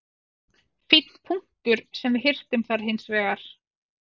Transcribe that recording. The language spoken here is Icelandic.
Fínn punktur sem við hirtum þar hins vegar.